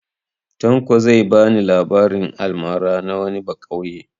Tanko zai ba ni labarin almara na wani baƙauye.